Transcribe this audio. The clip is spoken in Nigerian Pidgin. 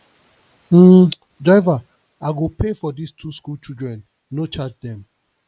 um driver i go pay for dis two school children no charge dem